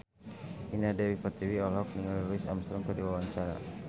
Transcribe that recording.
Indah Dewi Pertiwi olohok ningali Louis Armstrong keur diwawancara